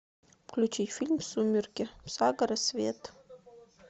включи фильм сумерки сага рассвет